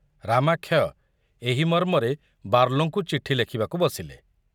ରାମାକ୍ଷୟ ଏହି ମର୍ମରେ ବାର୍ଲୋଙ୍କୁ ଚିଠି ଲେଖିବାକୁ ବସିଲେ।